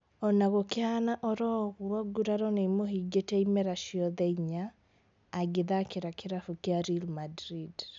Ona gũkĩhana oro ũguo nguraro nĩimũhĩngĩte imera ciothe inya agĩthakĩra kĩrabu kĩa Real Madrid